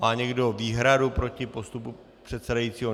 Má někdo výhradu proti postupu předsedajícího?